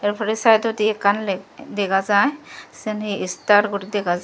tapore sideodi ekkan le dega jay sen he star guri dega jay.